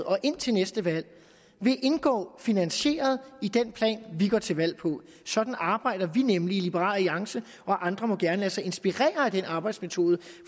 og indtil næste valg vil indgå finansieret i den plan vi går til valg på sådan arbejder vi nemlig i liberal alliance og andre må gerne lade sig inspirere af den arbejdsmetode